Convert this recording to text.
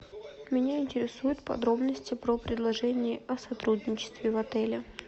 меня интересуют подробности про предложения о сотрудничестве в отеле